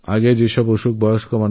আপনার উদ্বেগ যথার্থ